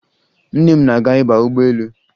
Nne m na-aga ịba ụgbọelu